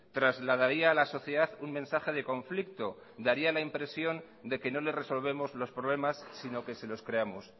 trasladaría a la sociedad un mensaje de conflicto daría la impresión de que no les resolvemos los problemas sino que se los creamos